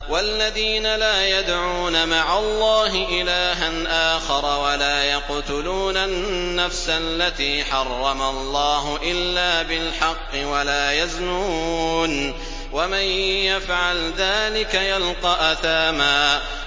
وَالَّذِينَ لَا يَدْعُونَ مَعَ اللَّهِ إِلَٰهًا آخَرَ وَلَا يَقْتُلُونَ النَّفْسَ الَّتِي حَرَّمَ اللَّهُ إِلَّا بِالْحَقِّ وَلَا يَزْنُونَ ۚ وَمَن يَفْعَلْ ذَٰلِكَ يَلْقَ أَثَامًا